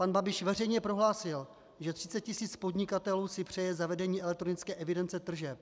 Pan Babiš veřejně prohlásil, že 30 tisíc podnikatelů si přeje zavedení elektronické evidence tržeb.